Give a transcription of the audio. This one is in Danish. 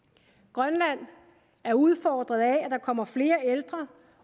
grønland er udfordret af at der kommer flere ældre